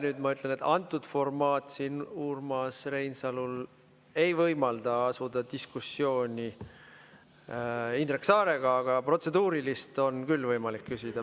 Nüüd ma ütlen, et antud formaat siin Urmas Reinsalul ei võimalda asuda diskussiooni Indrek Saarega, aga protseduurilist on küll võimalik küsida.